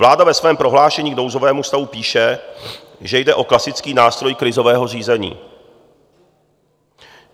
Vláda ve svém prohlášení k nouzovému stavu píše, že jde o klasický nástroj krizového řízení.